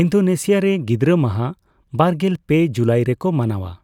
Indonesia ᱨᱮ ᱜᱤᱫᱽᱨᱟᱹ ᱢᱟᱦᱟ ᱵᱟᱨᱜᱮᱞ ᱯᱮ ᱡᱩᱞᱟᱭ ᱨᱮᱠᱚ ᱢᱟᱱᱟᱣᱼᱟ ᱾